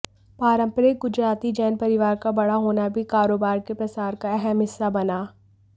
पारंपरिक गुजराती जैन परिवार का बड़ा होना भी कारोबार के प्रसार का अहम हिस्सा बना